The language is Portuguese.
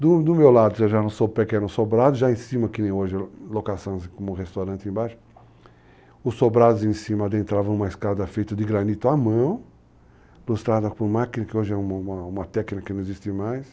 Do meu lado, eu já não sou pequeno sobrado, já em cima, que nem hoje, locações como o restaurante embaixo, os sobrados em cima adentravam uma escada feita de granito à mão, ilustrada por máquina, que hoje é uma técnica que não existe mais.